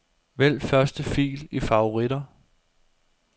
Vælg første fil i favoritter.